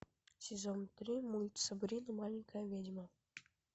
сезон три мульт сабрина маленькая ведьма